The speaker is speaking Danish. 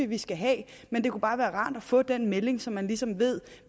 vi skal have men det kunne bare være rart at få den melding så man ligesom ved